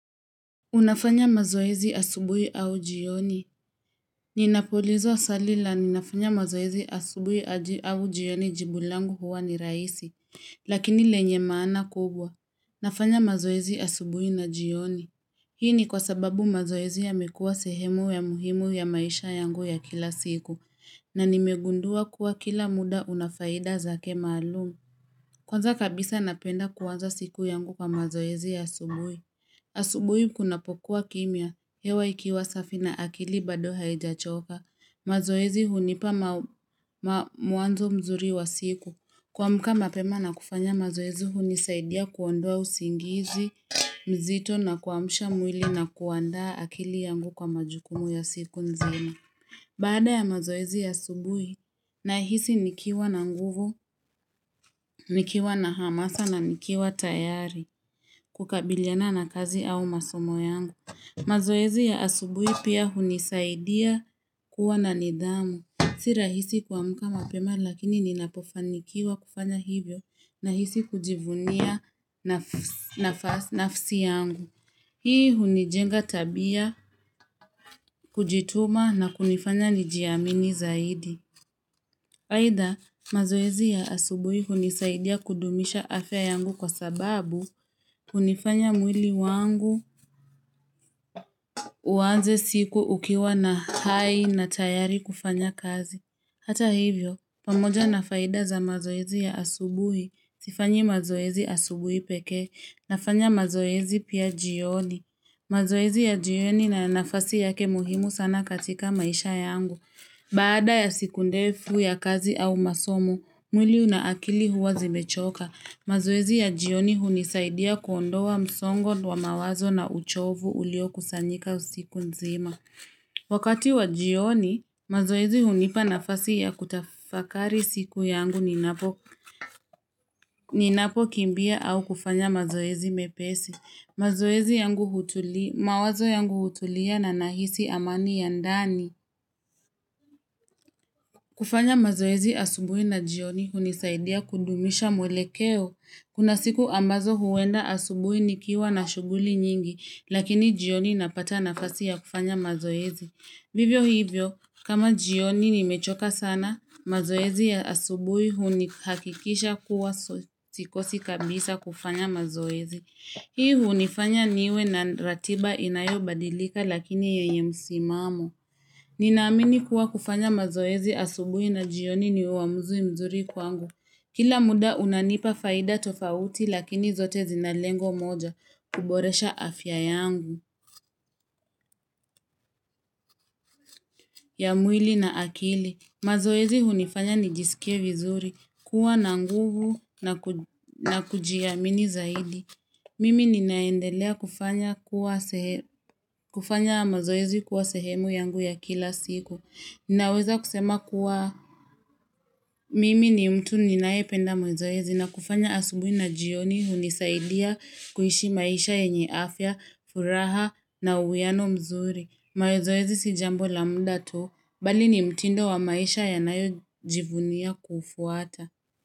Unafanya mazoezi asubuhi au jioni. Ninapoulizwa swali la ninafanya mazoezi asubuhi au jioni jibu langu huwa ni raisi. Lakini lenye maana kubwa. Nafanya mazoezi asubuhi na jioni. Hii ni kwa sababu mazoezi yamekua sehemu ya muhimu ya maisha yangu ya kila siku. Na nimegundua kuwa kila muda unafaida zake maalum. Kwanza kabisa napenda kuanza siku yangu kwa mazoezi asubuhi. Asubuhi kunapokuwa kimya, hewa ikiwa safi na akili bado haijachoka. Mazoezi hunipa mwanzo mzuri wa siku. Kuamka mapema na kufanya mazoezi hunisaidia kuondoa usingizi, mzito na kuamusha mwili na kuandaa akili yangu kwa majukumu ya siku nzima. Baada ya mazoezi asubuhi nahisi nikiwa na nguvu, nikiwa na hamasa na nikiwa tayari kukabiliana na kazi au masomo yangu. Mazoezi ya asubuhi pia hunisaidia kuwa na nidhamu. Si rahisi kuamka mapema lakini ninapofanikiwa kufanya hivyo nahisi kujivunia nafsi yangu. Hii hunijenga tabia, kujituma na kunifanya nijiamini zaidi. Aidhaa, mazoezi ya asubuhi hunisaidia kudumisha afya yangu kwa sababu hunifanya mwili wangu uanze siku ukiwa na hai na tayari kufanya kazi. Hata hivyo, pamoja na faida za mazoezi ya asubuhi, sifanyi mazoezi asubuhi pekee nafanya mazoezi pia jioni. Mazoezi ya jioni na nafasi yake muhimu sana katika maisha yangu. Baada ya siku ndefu ya kazi au masomo, mwili na akili huwa zimechoka. Mazoezi ya jioni hunisaidia kuondoa msongo wa mawazo na uchovu ulio kusanyika usiku nzima. Wakati wa jioni, mazoezi hunipa nafasi ya kutafakari siku yangu ninapokimbia au kufanya mazoezi mepesi. Mazoezi yangu hutuli, mawazo yangu hutulia na nahisi amani ya ndani. Kufanya mazoezi asubui na jioni hunisaidia kudumisha mwelekeo. Kuna siku ambazo huenda asubui nikiwa na shuguli nyingi, lakini jioni napata nafasi ya kufanya mazoezi. Vivyo hivyo, kama jioni nimechoka sana, mazoezi ya asubui hunihakikisha kuwa sikosi kabisa kufanya mazoezi. Hii hunifanya niwe na ratiba inayobadilika lakini yenye msimamo. Ninaamini kuwa kufanya mazoezi asubui na jioni ni uamuzui mzuri kwangu. Kila muda unanipa faida tofauti lakini zote zina lengo moja kuboresha afya yangu. Ya mwili na akili. Mazoezi hunifanya nijisikie vizuri kuwa na nguvu na kujiamini zaidi. Mimi ninaendelea kufanya mazoezi kuwa sehemu yangu ya kila siku. Ninaweza kusema kuwa. Mimi ni mtu ninaependa mazoezi na kufanya asubuhi na jioni hunisaidia kuishi maisha yenye afya, furaha na uwiano mzuri. Mazoezi si jambo la mda tu, bali ni mtindo wa maisha yanayojivunia kufuata.